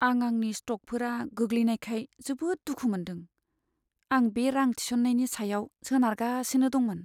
आं आंनि स्टकफोरा गोग्लैनायखाय जोबोद दुखु मोनदों। आं बे रां थिसननायनि सायाव सोनारगासिनो दंमोन।